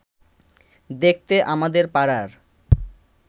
দেখতে আমাদের পাড়ার